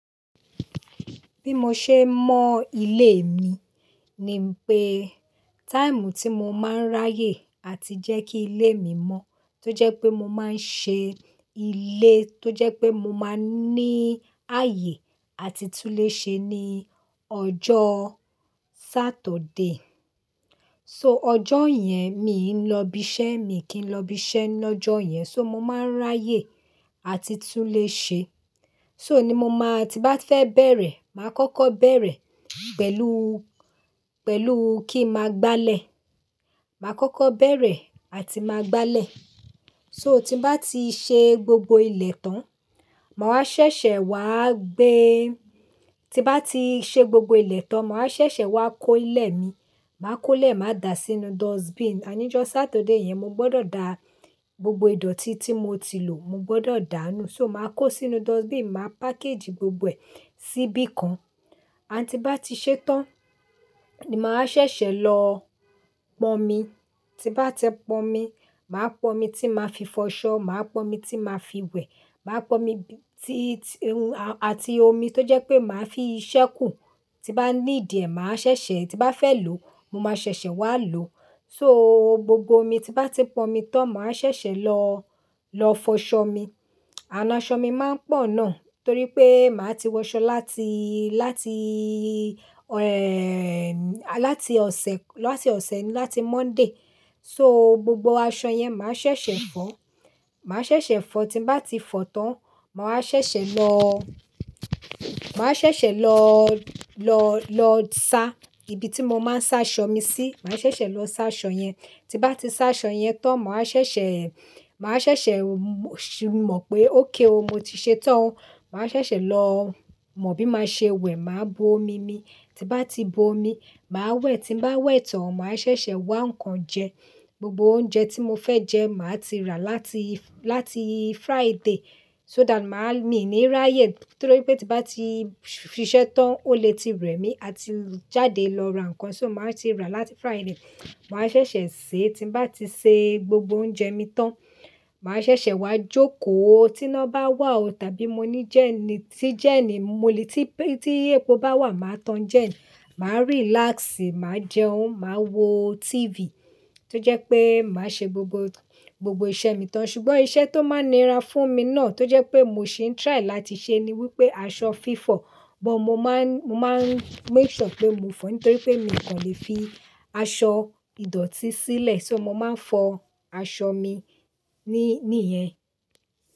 Bí mo ṣe ń mọ ilé mi ni pé táìmù tí mo máa ń ráyè àti jẹ́ kí ilé mi mọ́ tó jẹ́ pé mo máa ń ṣe ilé tó jẹ́ pé mo máa ń ní ààyè àti tún le ṣe ní ọjọ́ Saturday. So ojo yen mi lo ibi iṣẹ́, mi ki lo ibi iṣẹ́ lọ́jọ́ yen. So mo máa ń ráyè àti tún lè ṣe. So ni mo máa tí bá fẹ́ bẹ̀rẹ̀, màá kọ́kọ́ bẹ̀rẹ̀ pẹ̀lú, pẹ̀lú kí n máa gbálẹ̀. Màá kọ́kọ́ bẹ̀rẹ̀ àti máa gbálẹ̀. So tí bá ti ṣe gbogbo ilẹ̀ tán, màá ṣẹṣẹ wá gbe. Tí bá ti ṣe gbogbo ilẹ̀ tán, màá ṣẹ̀ṣẹ̀ wá kó ilẹ̀ mi. Màá kó ilẹ̀, màá da sínú dustbin. A ní jọ́ Saturday yẹn, mo gbọ́dọ̀ dà gbogbo ìdọ̀tí tí mo ti lò, mo gbọ́dọ̀ dáá nù. So màá kó sínú dustbin, màá package gbogbo ẹ̀ síbí kan. Ànd ti ba tii ṣé tán, ni màá ṣẹ̀ṣẹ̀ lọ pọn omi. Tí bá ti pọn omi, màá pọn omi tí màá fi fọṣọ. Màá pọn omi tí màá fi wẹ̀. Màá pọn omi tí, tí, àti omi tó jẹ́ pé màá fi i ṣẹ́kù. Tí bá ni dìẹ, màá ṣẹ̀ṣẹ̀. Tí bá fẹ́ lò, mo máa ṣẹ̀ṣẹ̀ wá lò. So gbogbo omi tí bá ti pọn mi tán, màá ṣẹ̀ṣẹ̀ lọ, lọ fọṣọ mi. Ànd aṣọ mi máa ń pọ̀ náà torí pé màá ti wọ aṣọ láti, láti, ẹ́, láti ọ̀sẹ̀, láti ọ̀sẹ̀, láti Monday. So gbogbo aṣọ yẹn màá ṣẹ̀ṣẹ̀ fọ̀. Màá ṣẹ̀ṣẹ̀ fọ. Tí bá ti fọ tán, màá ṣẹ̀ṣẹ̀ lọ, màá ṣẹ̀ṣẹ̀ lọ, lọ, lọ sá ibi tí mo máa ń sá aṣọ mi sí. Màá ṣẹ̀ṣẹ̀ lọ sá aṣọ yen tí bá ti sá aṣọ yẹn tán, màá ṣẹ̀ṣẹ̀, màá ṣẹ̀ṣẹ̀ mọ̀ pé okay o, mo ti ṣe tán. Màá ṣẹ̀ṣẹ̀ lọ mọ bí máa ṣe wẹ̀. Màá bu omi mi. Tí bá ti bu omi, màá wẹ̀. Tí bá wẹ̀ tán, màá ṣẹ̀ṣẹ̀ wa ǹkan jẹ. Gbogbo oúnjẹ tí mo fẹ́ jẹ màá ti rà láti, láti Friday so that màá ní ní ráyè torí pé tí bá ti ṣiṣẹ́ tán ó lè ti rẹ̀ mí àti jáde lọ ra ǹkan. So màá ti ra láti Friday. Màá ṣẹ̀ṣẹ̀ se. Tí bá ti ṣe gbogbo oúnjẹ mi tán, màá ṣẹ̀ṣẹ̀ wá jókòó. Tí iná bá wà o tàbí mo ní jẹ́ẹ́ní, tí jẹ́ẹ́ní mo lè-- tí epo bá wà, màá tan jẹ́ẹ́ní. Ma relax ma jẹun ma wo TV to je wípé ma se gbogbo iṣẹ́ mi tan. Ṣùgbọ́n iṣẹ́ tó máa nira fún mi náà tó jẹ́ pé mo ṣe ń try láti ṣe ni wípé aṣọ fífọ̀. Bọ̀ màá ń, màá ń make sure pé mo fọ nítorí pé mi kò lè fi aṣọ ìdọ̀tí sílẹ̀. So mo máa ń fọ aṣọ mi ní, níyẹn.